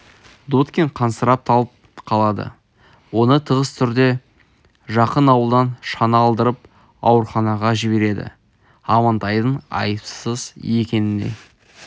дудкин қансырап талып қалады оны тығыз түрде жақын ауылдан шана алдырып ауруханаға жібереді амантайдың айыпсыз екеніне